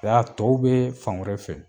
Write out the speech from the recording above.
Ja tɔw bɛ fan wɛrɛ fɛ.